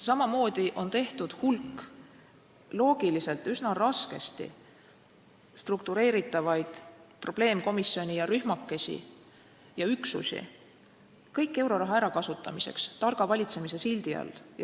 Samamoodi on tehtud hulk loogiliselt üsna raskesti struktureeritavaid probleemkomisjone, rühmakesi ja üksusi, kõik euroraha ärakasutamiseks targa valitsemise sildi all.